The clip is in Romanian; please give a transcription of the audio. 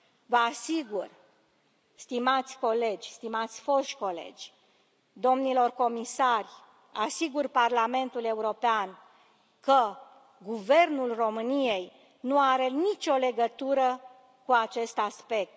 Vă asigur, stimați colegi, stimați foști colegi, domnilor comisari, asigur Parlamentul European că Guvernul României nu are nicio legătură cu acest aspect.